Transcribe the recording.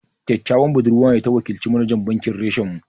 Ƙyaƙƙyawan budurwa ce ta wakilci manajan bankin reshen mu